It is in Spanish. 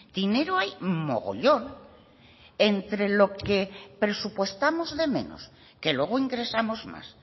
dinero hay mogollón entre lo que presupuestamos de menos que luego ingresamos más